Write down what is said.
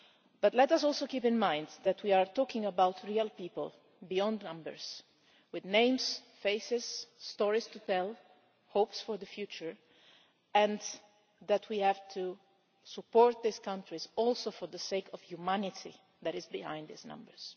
But let us also keep in mind that we are talking about real people behind the numbers, with names, faces, stories to tell, hopes for the future, and that we have to support these countries also for the sake of the humanity that is behind these numbers.